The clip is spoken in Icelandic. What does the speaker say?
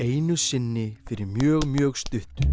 einu sinni fyrir mjög mjög stuttu